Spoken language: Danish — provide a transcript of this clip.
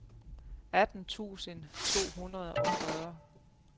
atten tusind to hundrede og fyrre